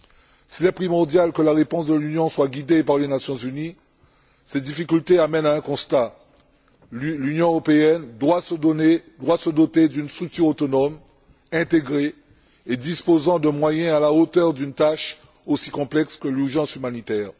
S'il est primordial que la dépense de l'Union soit guidée par les Nations unies, ces difficultés amènent à un constat l'Union européenne doit se doter d'une structure autonome, intégrée et disposant de moyens à la hauteur d'une tâche aussi complexe que l'urgence humanitaire.